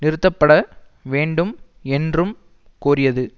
நிறுத்தப்பட வேண்டும் என்றும் கோரியது